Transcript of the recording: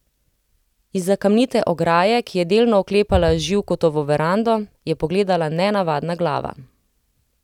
Izza kamnite ograje, ki je delno oklepala Živkotovo verando, je pogledala nenavadna glava.